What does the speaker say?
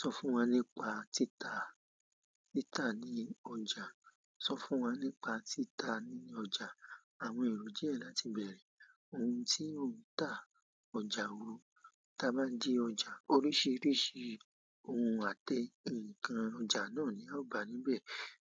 Sọ fún wa nípa títa, títa ní ọjà. So fún wa nípa tita nini ọjà. Àwọn èrò díẹ̀ láti bẹ̀rẹ̀. Ohun tí ó ń ta ọjà wo? Tí a bá de ọjà, oríṣiríṣi ohun àte nǹkan ọjà náà ni a ó gbà níbẹ̀